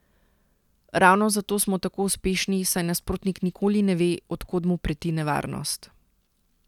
Ravno zato smo tako uspešni, saj nasprotnik nikoli ne ve, od kod mu preti nevarnost.